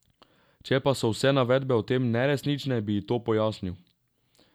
Če pa so vse navedbe o tem neresnične, bi ji to pojasnil.